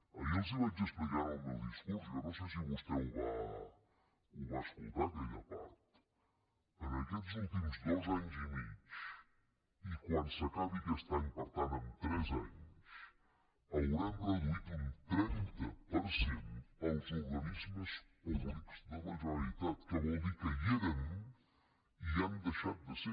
ahir els ho vaig explicar en el meu discurs jo no sé si vostè va escoltar aquella part en aquests últims dos anys i mig i quan s’acabi aquest any per tant en tres anys haurem reduït un trenta per cent els organismes públics de la generalitat que vol dir que hi eren i hi han deixat de ser